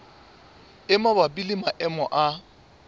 e mabapi le maemo a